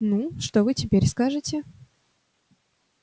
ну что вы теперь скажете